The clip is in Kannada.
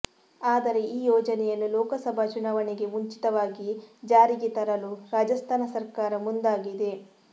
ಆದರೆ ಈ ಯೋಜನೆಯನ್ನು ಲೋಕಸಭಾ ಚುನಾವಣೆಗೆ ಮುಂಚಿತವಾಗಿ ಜಾರಿಗೆ ತರಲು ರಾಜಸ್ಥಾನ ಸರ್ಕಾರ ಮುಂದಾಗಿದೆ